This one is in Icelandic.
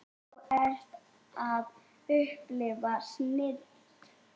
Þú ert að upplifa snilld.